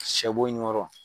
Shɛbon ɲɔrɔ.